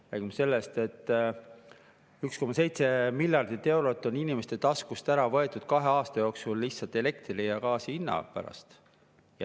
Me räägime sellest, et 1,7 miljardit eurot on inimeste taskust ära võetud kahe aasta jooksul lihtsalt elektri ja gaasi hinna pärast.